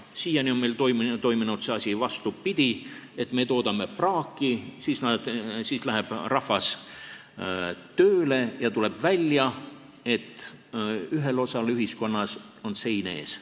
Siiani on meil toiminud see asi vastupidi: me toodame praaki, siis läheb rahvas tööle, ja tuleb välja, et ühel osal ühiskonnast on sein ees.